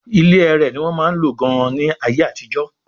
ilé ẹrẹ̀ ní wọ́n máa ń lò gan-an ní ayé àtijọ́